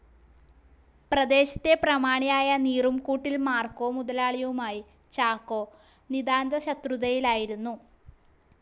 പ്രദേശത്തെ പ്രമാണിയായ നീറുംകൂട്ടിൽ മാർക്കോ മുതലാളിയുമായി ചാക്കോ നിതാന്തശത്രുതയിലായിരുന്നു.